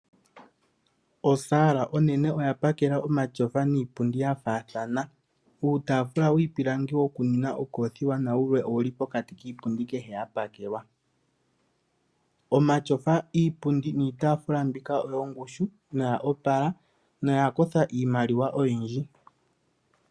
Osaala onene oyapakela omatyofa niipundi yafathana. Uutafula wiipilangi woku nwina okofiwa nawule owuli pokati kiipundi kehe yapakelwa, omatyofa iipundi, niitafula mbika oyo opala noyongushu noya kotha iimaliwa oyindji.